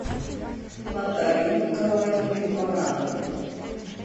натальи николаевны барановой